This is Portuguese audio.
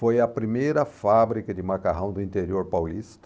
Foi a primeira fábrica de macarrão do interior paulista.